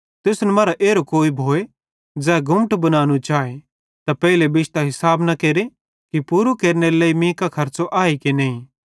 तुसन मरां एरो कोई भोए ज़ै गुम्मट बनानू चाए ते पेइले बिश्तां हिसाब न केरे कि पूरो केरनेरे लेइ मीं कां खर्च़ो आए कि नईं